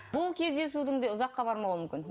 бұл кездесудің де ұзаққа бармауы мүмкін